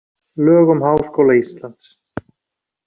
Lög um Háskóla Íslands.